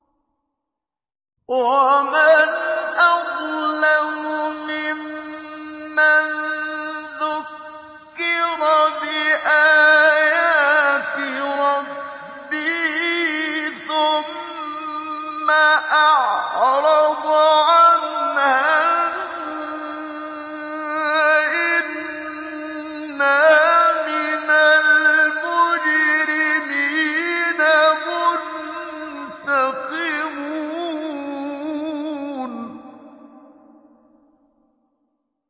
وَمَنْ أَظْلَمُ مِمَّن ذُكِّرَ بِآيَاتِ رَبِّهِ ثُمَّ أَعْرَضَ عَنْهَا ۚ إِنَّا مِنَ الْمُجْرِمِينَ مُنتَقِمُونَ